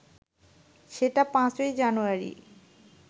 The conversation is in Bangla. সেটা ৫ই জানুয়ারি